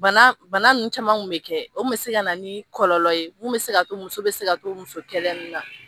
Bana bana nunnu camanw kun be kɛ . O kun be se ka na ni kɔlɔlɔ ye, mun be ka to muso be se ka to muso kɛlɛ nunnu na.